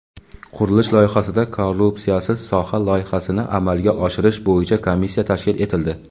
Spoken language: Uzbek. qurilish sohasida "Korrupsiyasiz soha" loyihasini amalga oshirish bo‘yicha komissiya tashkil etildi.